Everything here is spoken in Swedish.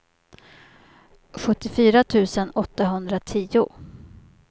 sjuttiofyra tusen åttahundratio